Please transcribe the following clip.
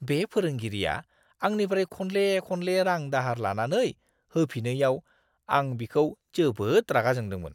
बे फोरोंगिरिया आंनिफ्राय खनले-खनले रां-दाहार लानानै होफिनैयाव, आं बिखौ जोबोद रागा जोंदोंमोन!